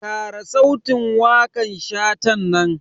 Kara sautin wakan Shatan nan.